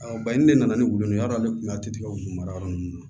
baɲini de nana ni wulu ye yar'ale kun a tɛ tigɛ mara yɔrɔ nunnu na